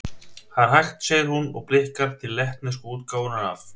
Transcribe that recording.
Það er hægt, segir hún, og blikkar til lettnesku útgáfunnar af